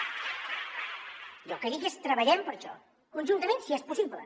jo el que dic és treballem per això conjuntament si és possible